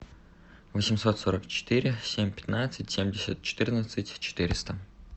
восемьсот сорок четыре семь пятнадцать семьдесят четырнадцать четыреста